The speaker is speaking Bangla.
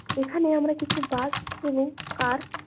এখানে আমরা কিছু বার্ক এবং কার --